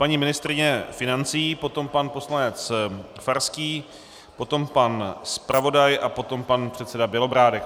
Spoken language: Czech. Paní ministryně financí, potom pan poslanec Farský, potom pan zpravodaj a potom pan předseda Bělobrádek.